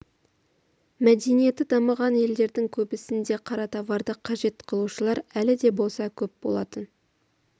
мәдениеті дамыған елдердің көбісінде қара товарды қажет қылушылар әлі де болса көп болатын